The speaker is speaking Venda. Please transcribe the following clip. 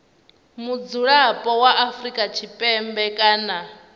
mudzulapo wa afrika tshipembe kana